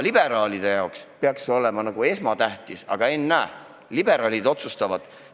Liberaalide jaoks peaks see olema esmatähtis, aga ennäe, liberaalid otsustavad teisiti.